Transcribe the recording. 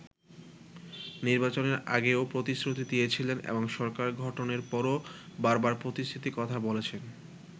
নির্বাচনের আগেও প্রতিশ্রুতি দিয়েছিলেন এবং সরকার গঠনের পরও বারবার প্রতিশ্রুতির কথা বলেছেন।